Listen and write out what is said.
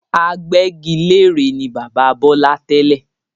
Agbẹ́gilére ni bàbá Bọlá tẹ́lẹ̀